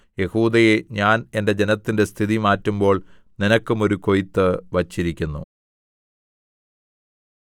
യെഹൂദയേ ഞാൻ എന്റെ ജനത്തിന്റെ സ്ഥിതി മാറ്റുമ്പോൾ നിനക്കും ഒരു കൊയ്ത്ത് വച്ചിരിക്കുന്നു